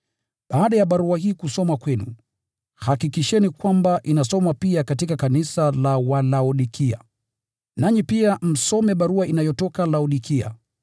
Baada ya barua hii kusomwa kwenu, hakikisheni kwamba inasomwa pia katika kanisa la Walaodikia. Nanyi pia msome barua inayotoka Laodikia.